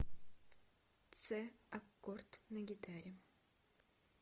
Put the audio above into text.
це аккорд на гитаре